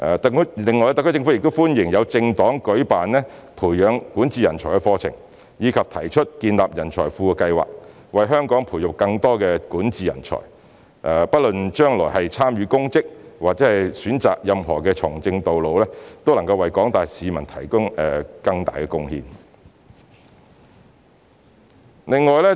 特區政府亦歡迎政黨舉辦培養管治人才的課程，以及提出建立人才庫的計劃，為香港培育更多管治人才，不論將來是參與公職或是選擇任何從政道路，都能為廣大市民作出更大的貢獻。